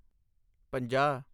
ਪੰਜਾਹ